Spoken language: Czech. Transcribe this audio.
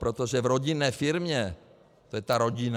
Protože v rodinné firmě - to je ta rodina.